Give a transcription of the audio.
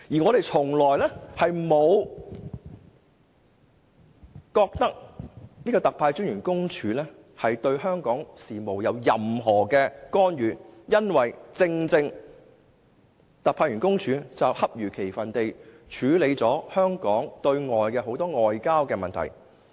我們從來不覺得特派員公署對香港事務有任何干預，因為它只是恰如其分地處理了很多香港的外交問題。